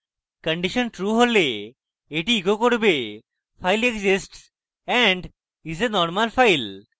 condition true হলে এটি echo করবে file exists and is a normal file